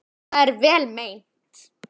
Það er vel meint.